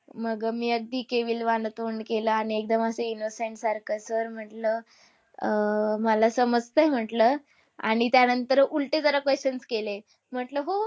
मग मी अगदी केविलवाणं तोंड केलं आणि एकदम असं innocent सारखं. Sir म्हटलं, अह मला समजतंय म्हटलं आणि त्यानंतर उलटे जरा questions केले. म्हटलं हो